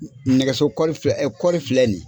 Nɛgɛso filɛ nin ye.